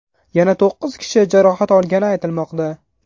Yana to‘qqiz kishi jarohat olgani aytilmoqda.